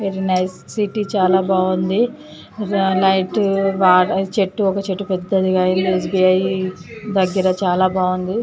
Very nice city చాలా బాగుంది like బాగా చెట్టు ఒక చెట్టుపెద్దదిగా ఎ. స్బి. ఐ. దగ్గర చాలా బాగుంది.